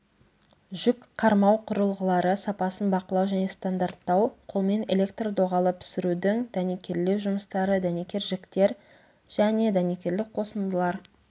жүкқармау құрылғылары сапасын бақылау және стандарттау қолмен электр-доғалы пісірудің дәнекерлеу жұмыстары дәнекер жіктер және дәнекерлік қосындылар